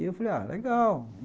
E eu falei, ah, legal.